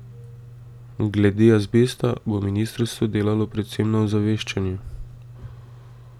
Glede azbesta bo ministrstvo delalo predvsem na ozaveščanju.